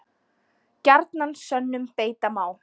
Gjarnan sönnum beita má.